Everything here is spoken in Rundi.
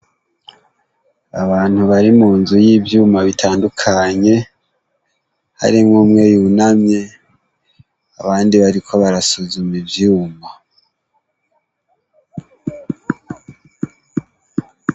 Abantu bari mu nzu y'ivyuma bitandukanye haremwo umwe yunamye abandi bariko barasuzuma ivyuma.